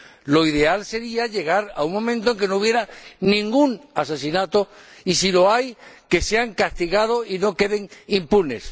Lo ideal sería llegar a un momento en el que no hubiera ningún asesinato, y si lo hay, que sea castigado y no quede impune.